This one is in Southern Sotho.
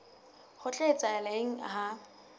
ho tla etsahala eng ha